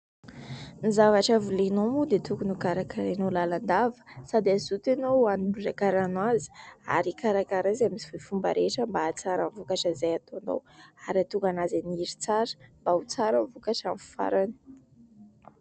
Ny zavatra volenao moa dia tokony ho karakarainao lalandava, sady hazoto ianao hanondraka rano azy ary hikarakara azy amin'izay fomba rehetra mba hahatsara ny vokatra izay ataonao ary hahatonga anazy haniry tsara, mba ho tsara ny vokatra amin'ny farany.